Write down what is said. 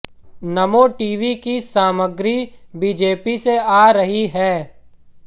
नमो TV की सामग्री BJP से आ रही है